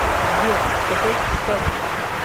сбер с какой стати